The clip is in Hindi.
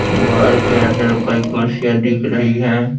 घर के अंदर कई कुर्सियां दिख रही हैं।